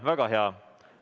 Väga hea.